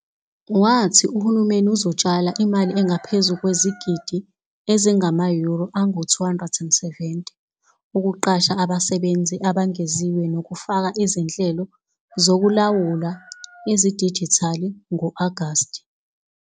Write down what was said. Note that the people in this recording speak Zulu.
Wathi uhulumeni uzotshala imali engaphezu kwezigidi ezingama-Euro angu-270 ukuqasha abasebenzi abengeziwe nokufaka izinhlelo zokulawula ezidijithali ngo-Agasti.